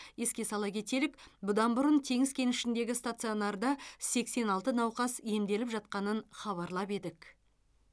еске сала кетелік бұдан бұрын теңіз кенішіндегі стационарда сексен алты науқас емделіп жатқанын хабарлап едік